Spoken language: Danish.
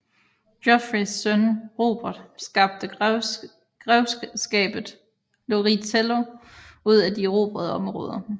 Geoffreys søn Robert skabte grevskabet Loritello ud af de erobrede områder